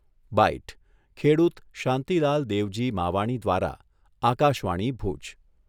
byte, ખેડૂત શાંતિલાલ દેવજી માવાણી દ્વારા, આકાશવાણી, ભુજ